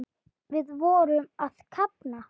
Við vorum að kafna.